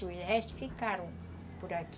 Os restos ficaram por aqui.